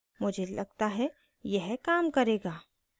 मुझे लगता है यह काम करेगा